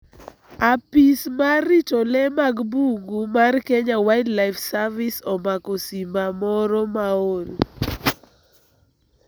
Apis mar rito lee mag bungu mar Kenya Wildlife Service (KWS) omako simba moro ma ol